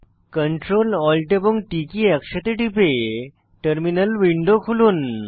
Ctrl Alt এবং T key একসাথে টিপে টার্মিনাল উইন্ডো খুলুন